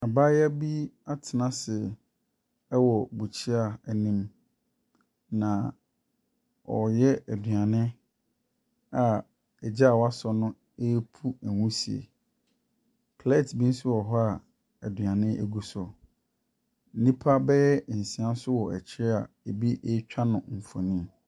Abaayewa bi atena se ɛwɔ bukyia anim na ɔreyɛ aduane a egya wasɔ no epu nwusie. Plɛt bi nso wɔ hɔ a aduane egu so. Nipa bɛyɛ nsia nso wɔ akyire a ebi etwa no nfonni.